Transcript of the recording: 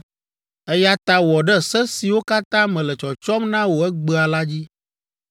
Eya ta wɔ ɖe se siwo katã mele tsɔtsɔm na wò egbea la dzi.